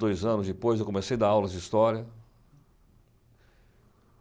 Dois anos depois, eu comecei a dar aulas de história.